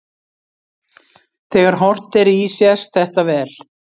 Þegar horft er í sést þetta vel.